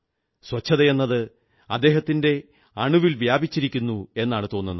ശുചിത്വമെന്നത് അദ്ദേഹത്തിന്റെ അണുഅണുവിൽ വ്യാപിച്ചിരിക്കുന്നെന്നാണു തോന്നുന്നത്